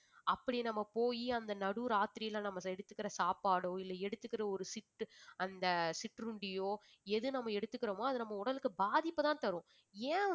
அப்படி நம்ம போயி அந்த நடுராத்திரியில நம்ம எடுத்துக்கிற சாப்பாடோ இல்லை எடுத்துக்கிற ஒரு சித்து~ அந்த சிற்றுண்டியோ எது நம்ம எடுத்துக்கிறோமோ அது நம்ம உடலுக்கு பாதிப்பை தான் தரும்